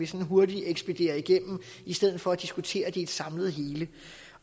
sådan hurtigt ekspederer igennem i stedet for at diskutere det i et samlet hele